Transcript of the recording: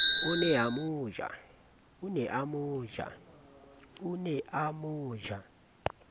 o ne a mo ja